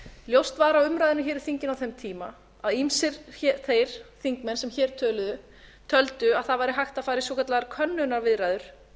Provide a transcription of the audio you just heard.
ljóst var af umræðunum hér í þinginu á þeim tíma að ýmsir þeir þingmenn sem hér töluðu töldu að það væri hægt að fara í svokallaðar könnunarviðræður